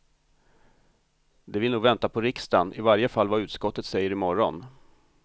De vill nog vänta på riksdagen, i varje fall vad utskottet säger i morgon.